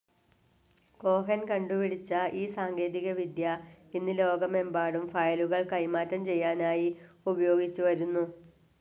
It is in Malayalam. കോഹൻ കണ്ടുപിടിച്ച ഈ സാങ്കേതികവിദ്യ ഇന്നു ലോകമെമ്പാടും ഫയലുകൾ കൈമാറ്റം ചെയ്യാനായി ഉപയോഗിച്ചു വരുന്നു.